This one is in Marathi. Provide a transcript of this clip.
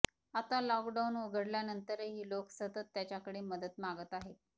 आता लॉकडाउन उघडल्यानंतरही लोक सतत त्याच्याकडे मदत मागत आहेत